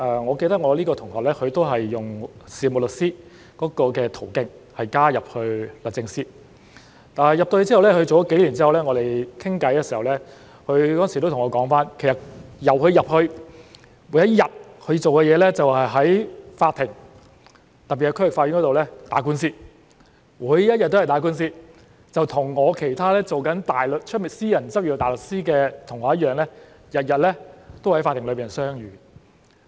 我記得當時這位同學是用事務律師的途徑加入律政司，但加入幾年之後，我們有次聊天的時候他對我說，他加入後，每一日他做的工作就是在法庭——特別是區域法院——打官司，每一日也在打官司，與其他在外面私人執業大律師的同學一樣，他們每日都在法庭相遇。